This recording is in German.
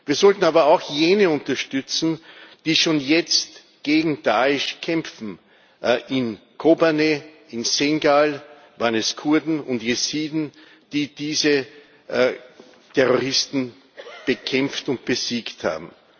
Wir sollten aber auch jene unterstützen, die schon jetzt gegen Da'esh kämpfen in Kobanê, in Şengal waren es Kurden und Jesiden, die diese Terroristen bekämpft und besiegt